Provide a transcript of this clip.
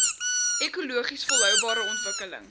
ekologies volhoubare ontwikkeling